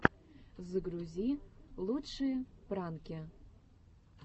загрузи лучшие пранки